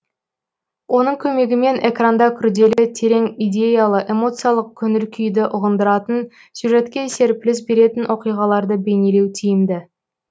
оның көмегімен экранда күрделі терең идеялы эмоциялық көңіл күйді ұғындыратын сюжетке серпіліс беретін оқиғаларды бейнелеу тиімді